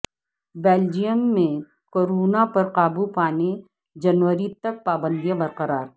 Belgium میںکورونا پر قابو پانے جنوری تک پابندیاں برقرار